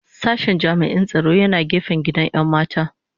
Sashen jami'in tsaro yana gefen gidan 'yan mata